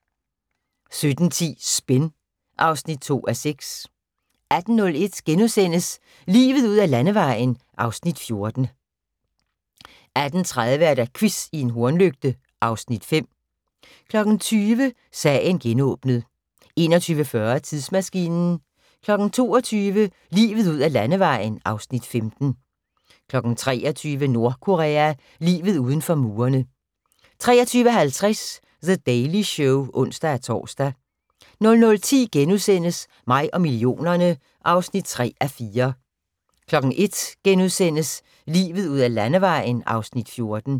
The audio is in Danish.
17:10: Spin (2:6) 18:01: Livet ud ad Landevejen (Afs. 14)* 18:30: Quiz i en hornlygte (Afs. 5) 20:00: Sagen genåbnet 21:40: Tidsmaskinen 22:00: Livet ud ad Landevejen (Afs. 15) 23:00: Nordkorea – livet inden for murene 23:50: The Daily Show (ons-tor) 00:10: Mig og millionerne (3:4)* 01:00: Livet ud ad Landevejen (Afs. 14)*